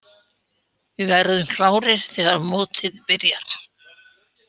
Við verðum klárir þegar mótið byrjar.